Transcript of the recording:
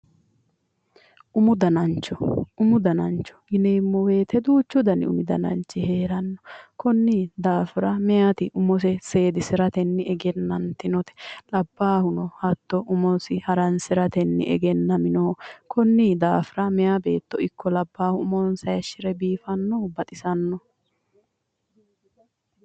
Umu dananicho umu dananicho yineemo woyite duuchu dani umu dananichi heeranno konni daafira meyati umose seedisiratenni egenannitinote labbaahuno hatto umosi haranisiratenni egenaminoho konni daafira meya beetto ikko labbaahu umonisa hayishire biifanno baxisanno